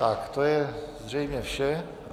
Tak to je zřejmě vše.